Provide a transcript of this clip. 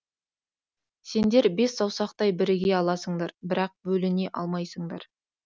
сендер бес саусақтай біріге аласыңдар бірақ бөліне алмайсыңдар